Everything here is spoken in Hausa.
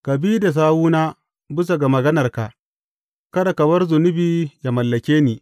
Ka bi da sawuna bisa ga maganarka; kada ka bar zunubi yă mallake ni.